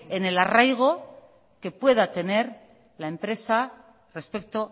en el arraigo que pueda tener la empresa respecto